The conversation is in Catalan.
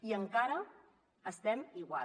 i encara estem igual